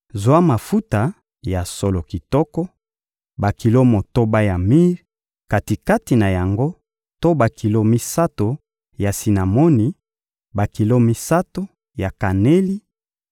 — Zwa mafuta ya solo kitoko: bakilo motoba ya mire, kati-kati na yango to bakilo misato ya sinamoni, bakilo misato ya kaneli,